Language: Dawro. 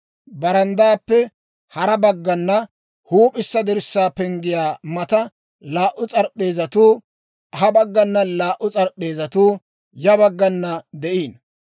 Baranddaappe kare baggana huup'issa dirssaa penggiyaa matan laa"u s'arp'p'eezatuu ha baggana, laa"u s'arp'p'eezatuu ya baggana de'iino.